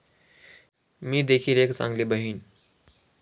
मी देखिल एक चांगली बहिण'